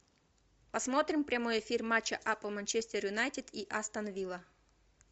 посмотрим прямой эфир матча апл манчестер юнайтед и астон вилла